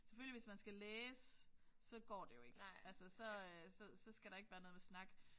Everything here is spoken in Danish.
Selvfølgelig hvis man skal læse så går det jo ikke. Altså så så så skal der ikke være noget med snak